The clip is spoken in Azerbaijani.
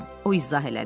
o izah elədi.